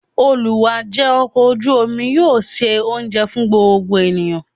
Olù wá ńjẹ ọkọ̀ ojú omi yóò ṣe oúnjẹ fún gbogbo ènìyàn.